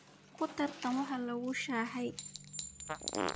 Kudhartan way kulushaxy .